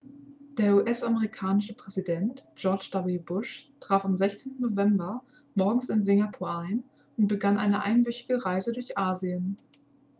der us-amerikanische präsident george w bush traf am 16. november morgens in singapur ein und begann eine einwöchige reise durch asien